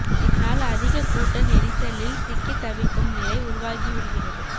இதனால் அதிக கூட்ட நெரிசலில் சிக்கி தவிக்கும் நிலை உருவாகி விடுகிறது